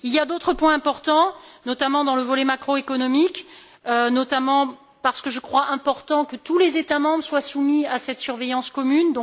Il y a d'autres points importants, notamment dans le volet macroéconomique, parce que je crois qu'il est important que tous les États membres soient soumis à cette surveillance commune.